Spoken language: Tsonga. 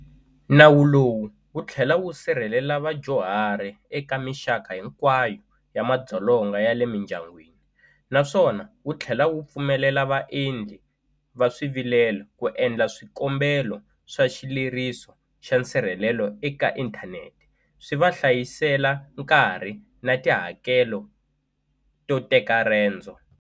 Nawu lowu wu tlhela wu sirhelela vadyuhari eka mixaka hinkwayo ya madzolonga ya le mindyangwini, naswona wu tlhela wu pfumelela vaendli va swivilelo ku endla swikombelo swa xileriso xa nsirhelelo eka inthanete, swi va hlayisela nkarhi na tihakelo to teka rendzo.